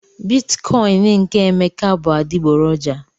Bitikoin nke Emeka bụ adịgboroja